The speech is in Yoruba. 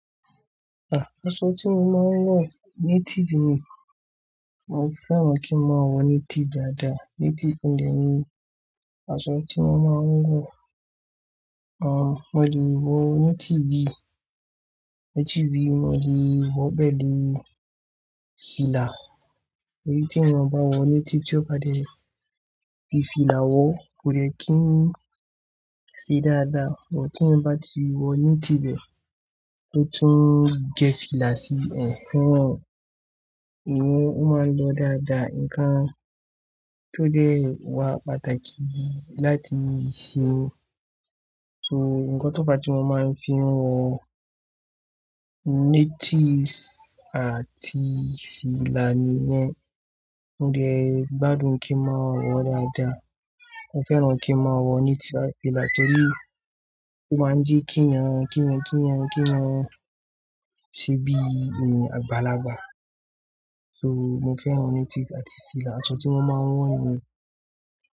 Aṣọ tí mo máa ń wọ, native ni. Mo fẹ́ràn kí n máa wọ native dáadáa. Native dè ni aṣọ tí mo máa ń wọ. Mo lè wọ native bíi mo lè wọ pẹ̀lú fìlà. Tí èèyàn bá wọ native tí ó bá dẹ́ fi fìlà wọ, kò le kín ṣe dáadáa. Ṣùgbọ́n tèèyàn bá ti wọ native ẹ rò tún gé fìlà sí hehee. Ìyùn ó máa ń lọ dáadáa. Nǹkan tó dẹ́ wá pàtàkì láti ṣe ni. So nǹkan tó fà tí mo máa ń fi wọ native àti fìlà nìyẹn. Mo dẹ gbádùn kí n máa wọ́ dáadáa. Mo fẹ́ràn kí n máa wọ native. Fìlà tẹ́lẹ̀ tó máa ń jẹ́ k'èyàn, ṣebí àgbàlagbà. So mo fẹ́ràn native àti fìlà. Aṣọ tí mo máa ń wọ nìyẹn.